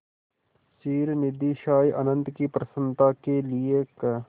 क्षीरनिधिशायी अनंत की प्रसन्नता के लिए क्